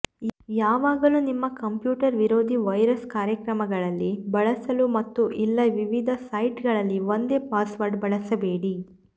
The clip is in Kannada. ಯಾವಾಗಲೂ ನಿಮ್ಮ ಕಂಪ್ಯೂಟರ್ ವಿರೋಧಿ ವೈರಸ್ ಕಾರ್ಯಕ್ರಮಗಳಲ್ಲಿ ಬಳಸಲು ಮತ್ತು ಇಲ್ಲ ವಿವಿಧ ಸೈಟ್ಗಳಲ್ಲಿ ಒಂದೇ ಪಾಸ್ವರ್ಡ್ ಬಳಸಬೇಡಿ